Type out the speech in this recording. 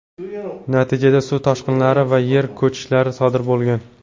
Natijada suv toshqinlari va yer ko‘chishlari sodir bo‘lgan.